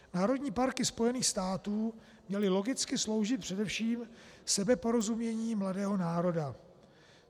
Národní parky Spojených států měly logicky sloužit především sebeporozumění mladého národa.